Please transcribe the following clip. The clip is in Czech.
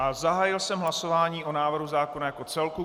A zahájil jsem hlasování o návrhu zákona jako celku.